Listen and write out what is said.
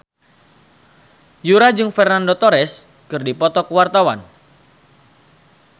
Yura jeung Fernando Torres keur dipoto ku wartawan